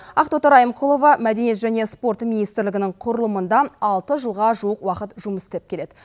ақтоты райымқұлова мәдениет және спорт министрлігінің құрылымында алты жылға жуық уақыт жұмыс істеп келеді